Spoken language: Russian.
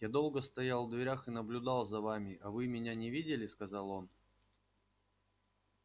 я долго стоял в дверях и наблюдал за вами а вы меня не видели сказал он